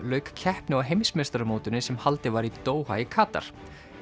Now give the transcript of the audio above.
lauk keppni á heimsmeistaramótinu sem haldið var í Doha í Katar